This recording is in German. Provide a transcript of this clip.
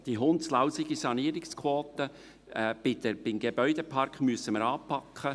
Die «hundslausige» Sanierungsquote beim Gebäudepark müssen wir anpacken.